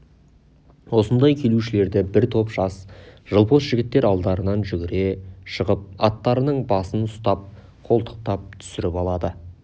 осындай келушілерді бір топ жас жылпос жігіттер алдарынан жүгіре шығып аттарының басын ұстап қолтықтап түсіріп алады